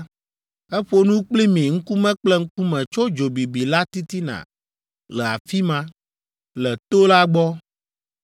Eƒo nu kpli mi ŋkume kple ŋkume tso dzo bibi la titina le afi ma, le to la gbɔ.